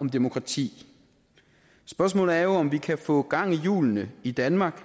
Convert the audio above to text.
om demokrati spørgsmålet er jo om vi kan få gang i hjulene i danmark